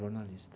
Jornalista.